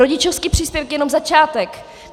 Rodičovský příspěvek je jenom začátek.